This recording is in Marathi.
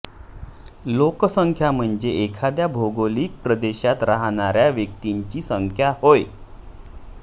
लोकसंख्याम्हणजे एखाद्या भौगोलिक प्रदेशात राहणाऱ्या व्यक्तींची संख्या होय